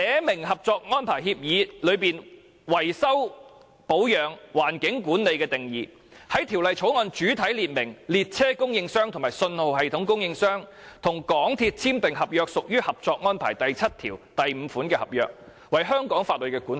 例如《合作安排》下維修保養、環境管理的定義，在《條例草案》主體列明列車供應商及信號系統供應商與港鐵公司簽訂的合約，屬於《合作安排》第七5條所述的合約，為香港法律管轄。